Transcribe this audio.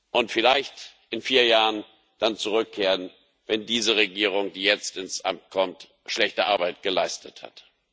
und vielleicht in vier Jahren dann zurückkehren, wenn diese Regierung, die jetzt ins Amt kommt, schlechte Arbeit geleistet hat.